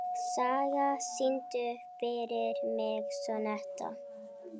Saga, syngdu fyrir mig „Sonnetta“.